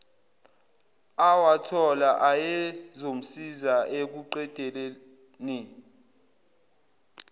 awathola ayezomsiza ekuqedeleni